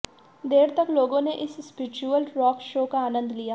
देर तक लोगों ने इस स्प्रिचुअल रॉक शो का आनंद लिया